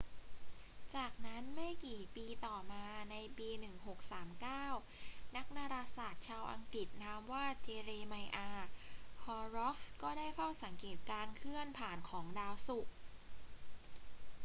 จากนั้น ไม่กี่ปีต่อมาในปี 1639 นักดาราศาสตร์ชาวอังกฤษนามว่า เจเรไมอาห์ ฮอร์ร็อกส์ ก็ได้เฝ้าสังเกตการเคลื่อนผ่านของดาวศุกร์